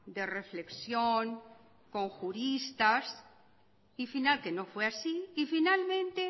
de reflexión con juristas que no fue así y finalmente